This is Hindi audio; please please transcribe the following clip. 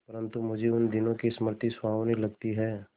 परंतु मुझे उन दिनों की स्मृति सुहावनी लगती है